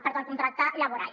perdó el contracte laboral